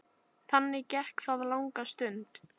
Þannig gekk það langa stund.